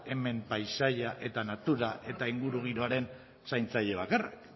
hemen paisaia eta natura eta ingurugiroan zaintzaile bakarrak